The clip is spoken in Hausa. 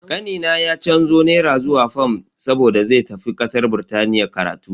Kanina ya canzo naira zuwa fam saboda zai tafi kasar Birtaniya karatu.